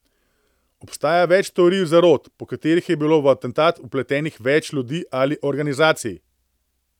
Obstaja več teorij zarot, po katerih je bilo v atentat vpletenih več ljudi ali organizacij.